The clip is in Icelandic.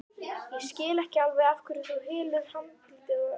Ég skil ekki af hverju þú hylur andlitið öllum stundum.